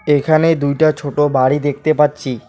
এখানে দুইটা ছোট বাড়ি দেখতে পাচ্ছি।